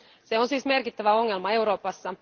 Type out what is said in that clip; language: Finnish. Se on siis merkittävä ongelma Euroopassa.